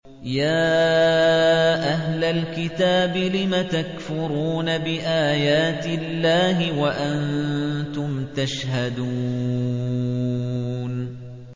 يَا أَهْلَ الْكِتَابِ لِمَ تَكْفُرُونَ بِآيَاتِ اللَّهِ وَأَنتُمْ تَشْهَدُونَ